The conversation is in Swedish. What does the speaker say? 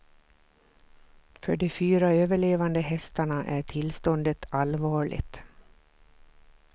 För de fyra överlevande hästarna är tillståndet allvarligt.